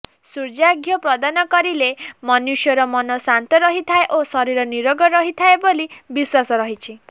ସୂର୍ଯ୍ୟାର୍ଘ୍ୟ ପ୍ରଦାନ କରିଲେ ମନୁଷ୍ୟର ମନଶାନ୍ତ ରହିଥାଏ ଓ ଶରୀର ନିରୋଗ ରହିଥାଏ ବୋଲି ବିଶ୍ୱାସ ରହିଛି